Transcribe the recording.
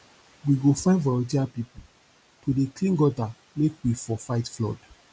we go find voluteer pipu to dey clean gutter make we for fight flood